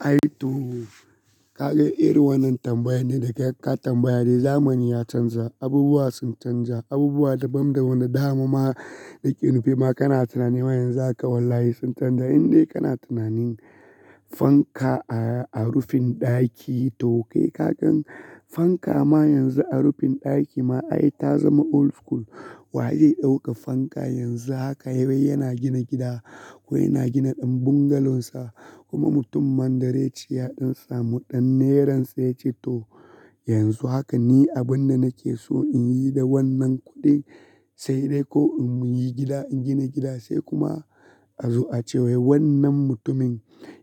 Ai to, kaga irin wannan tambayan ne da ka tambaya dai zamani ya canja, abubuwa sun canja, abubuwa daban da wani dama ma nake nufi ma kana tunanin ma yanzu haka wallahi sun canja. Inde kana tunanin fanka a, a rufin ɗaki to kai kagan fanka ma yanzu a rufin ɗaki ma ai ta zama old school. Wye zai ɗauka fanka yanzu haka wai yana gina gida ko yana gina ɗan bungalow sa kuma mutum mandare yace ya samu ɗan nera sa ya ce to yanzu haka ni abun da nake so in yi da wannan kuɗin sai dai ko in muyi gida in gina gida sai kuma a zo a cewa wai wannan mutumin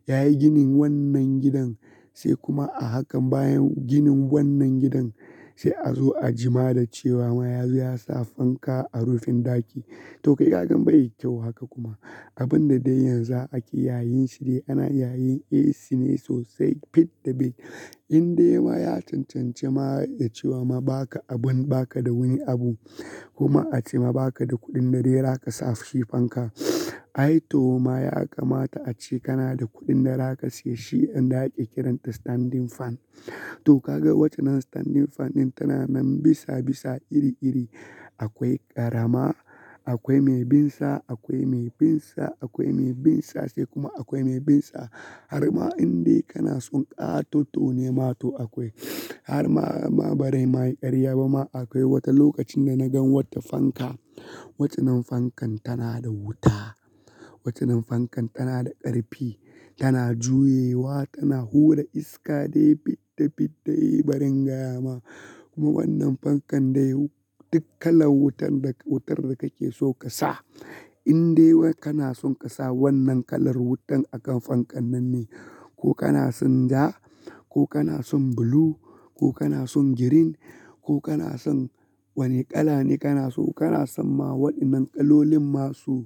yayi ginin wannan gidan sai kuma a hakan bayan ginin wannan gidan sai a zo a jima da cewa ma yazo ya sa fanka a rufin ɗaki. To kai kagan baida kyau haka kuma abun da dai yanzu ake yayin shi dai ana yayin AC ne sosai fidda fid. Inde ma ya cancanci ma ya cewa ma baka abun baka da wani abu kuma a ce ma baka da kuɗin da dai za ka sa shi fanka. Ai to ma ya kamata a ce kana da kuɗin da za ka siya shi inda ake kiranta standing fan. To kaga waccan din standing fan tana nan bisa bisa iri iri. Akwai ƙarama, akwai mai binsa, akwai mai binsa, akwai mai binsa sai kuma akwai mai binsa. Har ma indai kana son ƙatoto ne ma to akwai. Har ma, ma bazaima ƙarya ba ma akwai wata lokacin da na gan wata fanka, waccannin fankan tana da wuta, waccannin fankan tana da ƙarfi, tana juyewa, tana hura iska dai fidda fidda yi bari gaya ma. Kuma wannan fankan dai duk kalan wutar da, wutar da kake so ka sa. Inde wa kana son ka sa wannan kalar wutan akan fankan nan ne, ko kana son ja, ko kana son blue, ko kana son green, ko kana son wane kala ne kana so kana san ma wadannan ƙalolin masu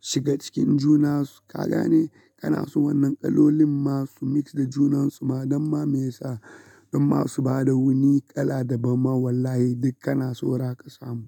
shiga cikin juna su kaga ne? Kana so wannan kalolin masu mix da junan su ma damma me yasa? Dan masu ba da wani kala daban ma wallahi duk kana so ra ka samu.